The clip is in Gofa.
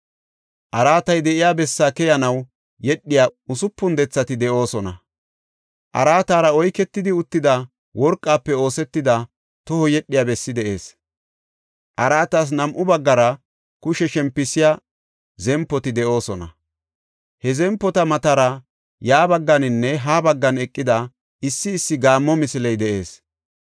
Araatay de7iya bessaa keyanaw yedhiya usupun dethati de7oosona. Araatara oyketidi uttida worqafe oosetida toho yedhiya bessi de7ees. Araatas nam7u baggara kushe shempisiya zempoti de7oosona; he zempota matara ya bagganinne ha baggan eqida issi issi gaammo misiley de7ees.